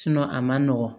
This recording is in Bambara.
a man nɔgɔn